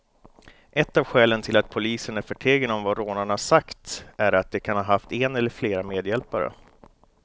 Ett av skälen till att polisen är förtegen om vad rånarna sagt är att de kan ha haft en eller flera medhjälpare.